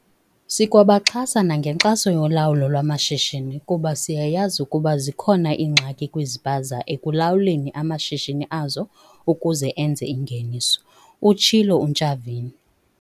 "Sikwabaxhasa nangenkxaso yolawulo lwamashishini kuba siyayazi ukuba zikhona iingxaki kwizipaza ekulawuleni amashishini azo ukuze enze ingeniso," utshilo uNtshavheni.